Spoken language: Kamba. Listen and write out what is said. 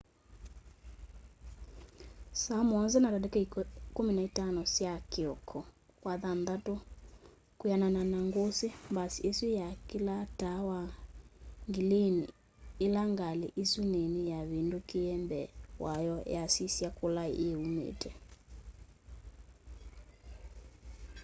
saa 1:15 sya kioko wathanthatu kwianana na ngusi mbasi isu yakilaa taa wa ngilini ila ngali isu nini yavindukiie mbee wayo yasisya kula yiiumite